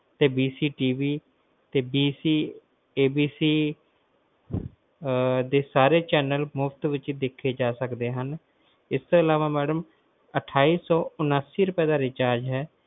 ਤੇ ABCTV ਤੇ ABC ਦੇ ਸਾਰੇ Channel ਮੁਫ਼ਤ ਵਿਚ ਦੇਖੇ ਜਾ ਸਕਦੇ ਹਨ ਇਸ ਤੋਂ ਅਲਾਵਾ ਮੈਡਮ ਅਠਾਈ ਸੌ ਉਨੱਤੀ ਰੁਪਏ ਦਾ pack ਹੈ